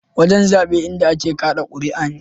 Wajen zaɓe inda a ke kaɗa kuriya ne.